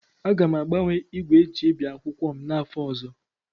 Aga m agbanwe igwe eji ebi akwụkwọ m n'afọ ọzọ.